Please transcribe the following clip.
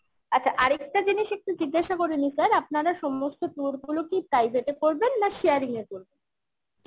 আচ্ছা আরেকটা জিনিস একটু জিজ্ঞাসা করে নিই sir আপনারা সমস্ত tour গুলো কি private এ করবেন না sharing এ করবেন?